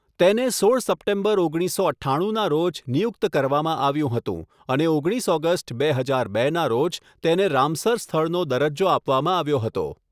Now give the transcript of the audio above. તેને સોળ સપ્ટેમ્બર, ઓગણીસસો અઠ્ઠાણુંના રોજ નિયુક્ત કરવામાં આવ્યું હતું અને ઓગણીસ ઓગસ્ટ, બે હજાર બેના રોજ તેને રામસર સ્થળનો દરજ્જો આપવામાં આવ્યો હતો.